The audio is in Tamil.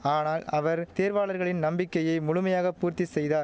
ஆனால் அவர் தேர்வாளர்களின் நம்பிக்கையை முழுமையாக பூர்த்தி செய்தா